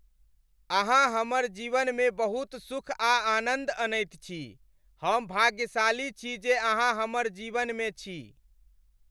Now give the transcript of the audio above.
अहाँ हमर जीवनमे बहुत सुख आ आनन्द अनैत छी। हम भाग्यशाली छी जे अहाँ हमर जीवन में छी।